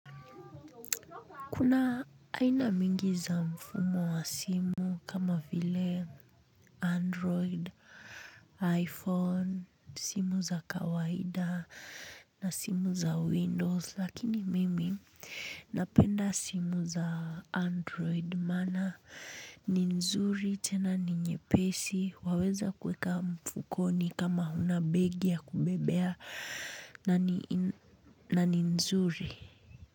Kuna aina mingi za mfumo wa simu kama vile Android, iPhone, simu za kawaida na simu za Windows lakini mimi napenda simu za Android maana ni nzuri tena ni nyepesi waweza kuweka mfukoni kama huna begi ya kubebea nani nani nzuri.